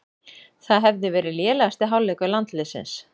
Það hefði verið lélegasti hálfleikur landsliðsins